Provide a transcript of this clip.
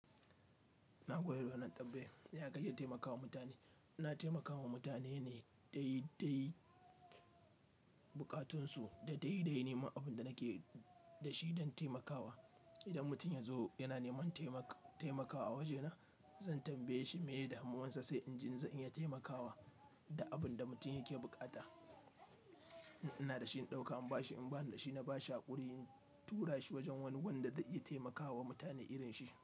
Nagode da wannan tambaya. Ya kake taimakawa mutane. Ina taimakawa mutane ne da dai dai buƙatunsu da dai dai nima abin da nake da shi don taimakawa. Idan mutum ya zo yana neman taimakawa a wajena, zan tambaye shi meye damuwansa sai in jin in za'n iya taimakawa da abin da mutum yake bukata. In ina da shi in ɗauka, in ba shi, in bani da shi na ba shi haƙuri, in tura shi wajen wani wanda za iya taimakawa mutane irin shi.